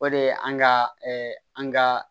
O de ye an ga an ga